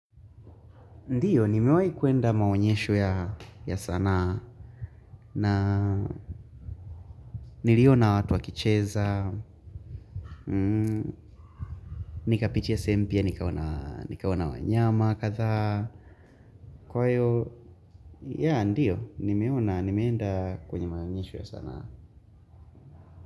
Ndiyo, nimewai kuenda maonyesho ya sanaa na niliona watu wa kicheza, nikapitia sehemu mpya nikaona wanyama katha. Kwa hiyo, yaa, ndiyo, nimeona, nimeenda kwenye maonyesho ya sanaa.